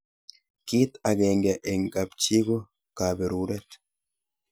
kit akenge eng kap chi ko kaberuret